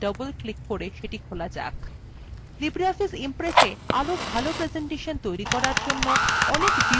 libreoffice impressa আরো ভালো presentation তৈরী করার জন্য অনেক view বা দেখার বিকল্প আছে